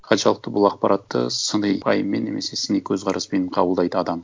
қаншалықты бұл ақпаратты сыни пайыммен немесе сыни көзқараспен қабылдайды адам